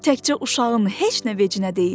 Təkcə uşağın heç nə vecinə deyildi.